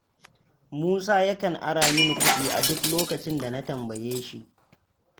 Musa yakan ara mini kuɗi a duk lokacin da na tambaye shi.